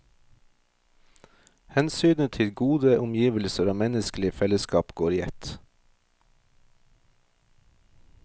Hensynet til gode omgivelser og menneskelig fellesskap går i ett.